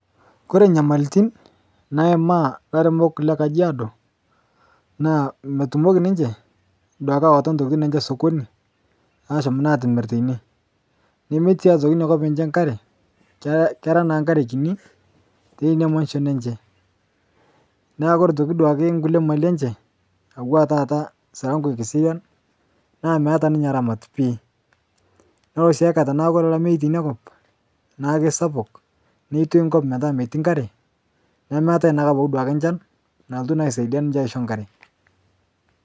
Kore nyamalitin naima laremok lekajiado naa metumoki niche awata ntokitin enche sokoni atum atimir teine nemetii aitoki nia kop enche nkare kera naa nkare kini teinia manshon enche naaku kore atoki nkule mali enche atua tata silango ekiserian naa meata ninye ramat pii nolo si aikata naa kore lamei teinia kop naa keisapuk neitoi nkop metaa metii nkare nemetae naaduake abaki nchan nalotu aisadia niche aisho nkare.